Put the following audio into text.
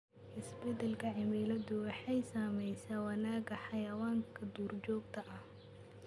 Isbeddelka cimiladu waxay saamaysaa wanaagga xayawaanka duurjoogta ah.